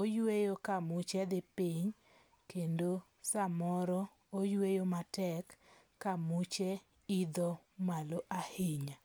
Oyweyo ka muche dhi piny kendo samoro oyweyo matek ka muche idho malo ahinya.